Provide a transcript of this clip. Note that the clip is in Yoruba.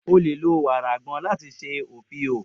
O le lo wara agbon lati ṣe ofio.